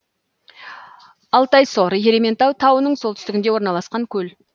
алтайсор ерейментау тауының солтүстігінде орналасқан көл